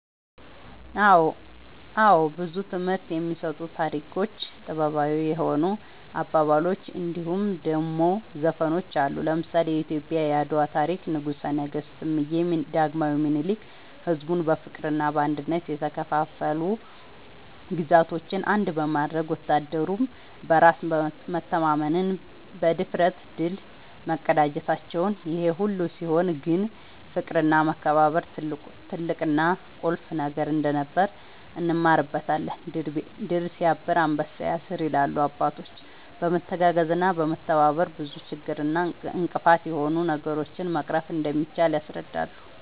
አወ ብዙ ትምህርት የሚሰጡ ታሪኮች ጥበባዊ የሆኑ አባባሎች እንድሁም ደሞ ዘፈኖች አሉ። ለምሳሌ :-የኢትዮጵያ የአድዋ ታሪክ ንጉሰ ነገስት እምዬ ዳግማዊ ምኒልክ ሕዝቡን በፍቅርና በአንድነት የተከፋፈሉ ግዛቶችን አንድ በማድረግ ወታደሩም በራስ መተማመንና ብድፍረት ድል መቀዳጀታቸውን ይሄ ሁሉ ሲሆን ግን ፍቅርና መከባበር ትልቅና ቁልፍ ነገር እንደነበር እንማርበታለን # "ድር ስያብር አንበሳ ያስር" ይላሉ አባቶች በመተጋገዝና በመተባበር ብዙ ችግር እና እንቅፋት የሆኑ ነገሮችን መቅረፍ እንደሚቻል ያስረዳሉ